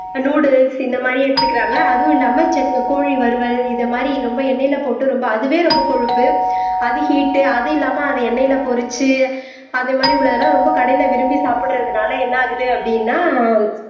ஆஹ் noodles இந்த மாதிரி எடுத்துக்கறாங்க அதுவும் இல்லாம கோழி வறுவல் இந்த மாதிரி ரொம்ப எண்ணெயில போட்டு ரொம்ப அதுவே ரொம்ப கொழுப்பு அது ஹீட் அது இல்லாம அது எண்ணெயில பொரிச்சு அதே மாதிரி உள்ளது எல்லாம் ரொம்ப கடையில விரும்பி சாப்பிடறதுனால என்ன ஆகுது அப்படின்னா